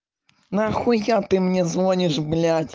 на хуя ты мне звонишь блять